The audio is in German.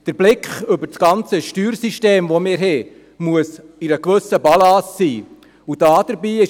Der Blick über unser gesamtes Steuersystem muss zeigen, dass dieses eine gewisse Balance aufweist.